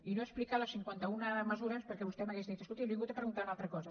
i no he explicat les cinquanta una mesures perquè vostè m’hauria dit escolti li he vingut a preguntar una altra cosa